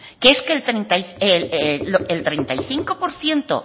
que es que el treinta y cinco por ciento